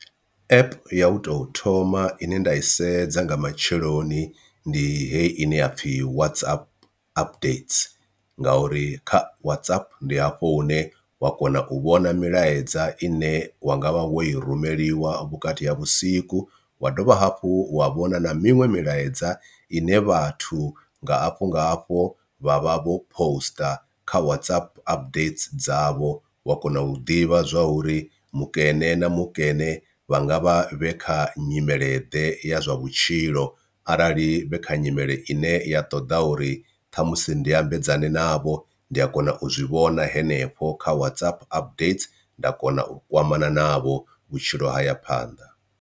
App ya u tou thoma ine nda i sedza nga matsheloni ndi heyi ine ya pfhi WhatsApp updates ngauri kha WhatsApp ndi hafho hune wa kona u vhona milaedza i ne wa nga vha wo i rumeliwa vhukati ha vhusiku, wa dovha hafhu wa vhona na miṅwe milaedza ine vhathu nga afho nga hafho vha vha vho poster kha WhatsApp updates dzavho wa kona u ḓivha zwa uri mukene na mukene vhanga vha vhe kha nyimele ḓe ya zwa vhutshilo. Arali vhe kha nyimele ine ya ṱoḓa uri ṱhamusi ndi ambedzana navho ndi a kona u zwi vhona henefho kha WhatsApp updater nda kona u kwamana navho vhutshilo ha ya phanḓa.